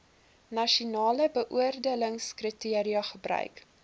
nasionale beoordelingskriteria gebruik